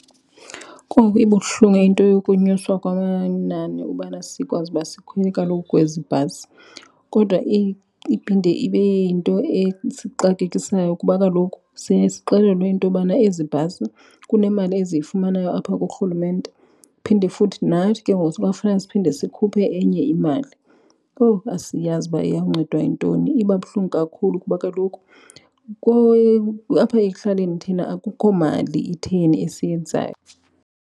Kowu, ibuhlungu into yokunyuswa kwamanani ubana sikwazi uba sikhwele kaloku kwezi bhasi, kodwa iphinde ibe yinto esixakekisayo kuba kaloku siye sixelelwe intobana ezi bhasi kunemali eziyifumanayo apha kuRhulumente. Phinde futhi nathi ke ngoku sikwafuneka siphinde sikhuphe enye imali. Kowu, asiyazi uba iyawuncedwa yintoni. Iba buhlungu kakhulu kuba kaloku apha ekuhlaleni thina akukho mali itheni esiyenzayo.